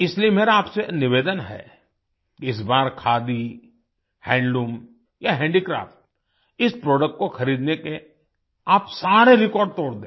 इसलिए मेरा आपसे निवेदन है इस बार खादी हैंडलूम या हैंडीक्राफ्ट इस प्रोडक्ट को खरीदने के आप सारे रेकॉर्ड तोड़ दें